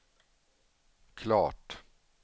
klart